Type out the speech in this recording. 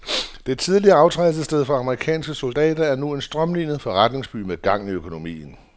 Det tidligere aftrædelsessted for amerikanske soldater er nu en strømlinet forretningsby med gang i økonomien.